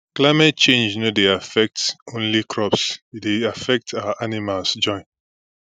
climate change no dey affect only crops e still dey affect our animals join